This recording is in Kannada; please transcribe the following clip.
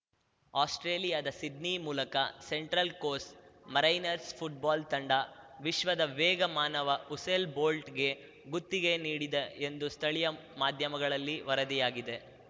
ಆಸ್ಪ್ರೇಲಿಯಾದ ಸಿಡ್ನಿ ಮೂಲಕ ಸೆಂಟ್ರಲ್‌ ಕೋರ್ಸ್ ಮೆರೈನರ್ಸ್ ಫುಟ್ಬಾಲ್‌ ತಂಡ ವಿಶ್ವದ ವೇಗದ ಮಾನವ ಉಸೇಲ್ ಬೋಲ್ಟ್‌ಗೆ ಗುತ್ತಿಗೆ ನೀಡಿದೆ ಎಂದು ಸ್ಥಳೀಯ ಮಾಧ್ಯಮಗಳಲ್ಲಿ ವರದಿಯಾಗಿದೆ